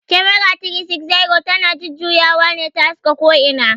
"Camera 360" ta na jujjuyawa ne ta haska ko ina